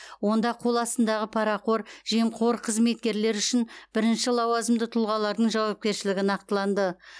онда қоластындағы парақор жемқор қызметкерлер үшін бірінші лауазымды тұлғалардың жауапкершілігі нақтыланды